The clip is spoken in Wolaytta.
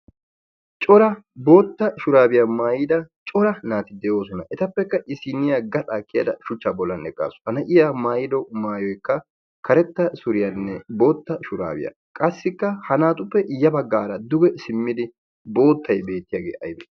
cora bootta shuraabiyaa maayida cora naati de'oosona. etappekka isiniya gaxaa kiyada shuchcha bollanne qaasu ha na'iya maayilo maayoikka karetta suriyaanne bootta shuraabiyaa qassikka ha naatuppe iyyabaggaara duge simmidi boottay beettiyaagee ayb?